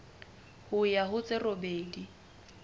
ho ya ho tse robedi